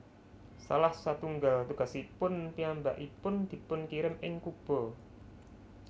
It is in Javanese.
Salah satunggal tugasipun piyambakipun dipunkirim ing Kuba